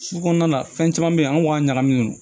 Su kɔnɔna fɛn caman be ye an ŋ'a ɲagami